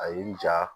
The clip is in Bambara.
A y'i ja